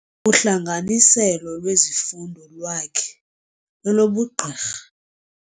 Uhlanganiselo lwezifundo lwakhe lolobugqirha.